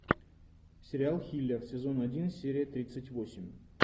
сериал хилер сезон один серия тридцать восемь